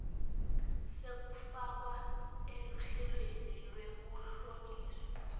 sekufakwa eluhlelweni lwekuhlonyiswa